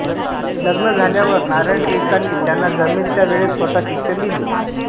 लग्न झाल्यावर नारायण टिळकांनी त्यांना जमेल त्या वेळेत स्वत शिक्षण दिले